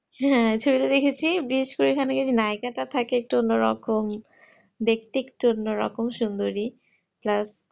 হ্যাঁ ছোট তে দেখেছি বিস্কুট এই নায়েক তা থাকে একটু অন্য রকম দেখতে একটু অন্য রকম সুন্দরী plus